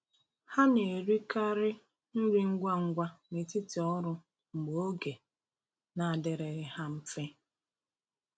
Ha na-erikarị nri ngwa ngwa n’etiti ọrụ mgbe oge na-adịrịghị ha mfe.